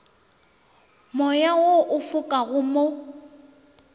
moya wo o fokago mo